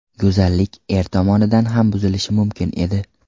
Go‘zallik er tomonidan ham buzilishi mumkin edi.